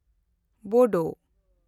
ᱵᱳᱰᱳ